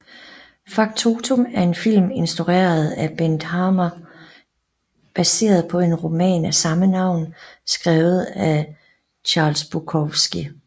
Factotum er en film instrueret af Bent Hamer baseret på en roman af samme navn skrevet af Charles Bukowski